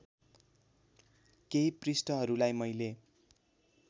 केही पृष्ठहरूलाई मैले